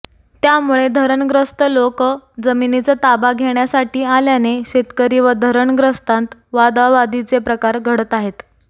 त्यामुळे धरणग्रस्त लोक जमिनीचा ताबा घेण्यासाठी आल्याने शेतकरी व धरणग्रस्तांत वादावादीचे प्रकार घडत आहेत